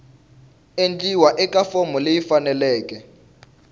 endliwa eka fomo leyi faneleke